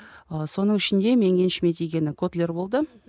ы соның ішінде менің еншіме тигені котлер болды